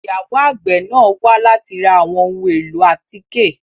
Ìyàwo àgbe náa wa lati ra awọn ohun elo atike